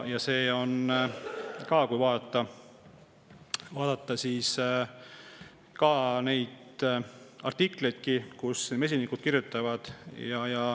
Ka artiklites mesinikud sellest kirjutavad.